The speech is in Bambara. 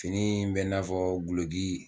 Fini in bɛ n'a fɔ guloki